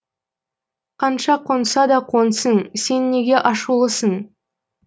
қанша қонса да қонсын сен неге ашулысың